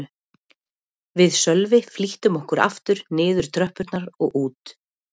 Við Sölvi flýttum okkur aftur niður tröppurnar og út.